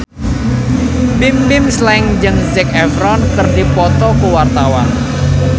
Bimbim Slank jeung Zac Efron keur dipoto ku wartawan